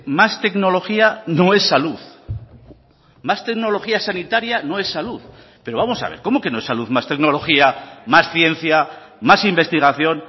más tecnología no es salud más tecnología sanitaria no es salud pero vamos a ver cómo que no es salud más tecnología más ciencia más investigación